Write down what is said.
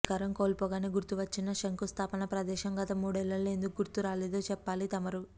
అధికారం కోల్పోగానే గుర్తు వచ్చిన శంఖుస్థాపన ప్రదేశం గత మూడేళ్ళలో ఎందుకు గుర్తు రాలేదో చెప్పాలి తమరు